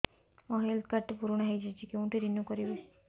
ମୋ health card ଟି ପୁରୁଣା ହେଇଯାଇଛି କେଉଁଠି ରିନିଉ କରିବି